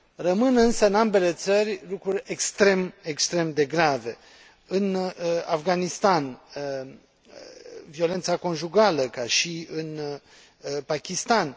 Rămân însă, în ambele țări, lucruri extrem, extrem de grave în Afganistan violența conjugală, ca și în Pakistan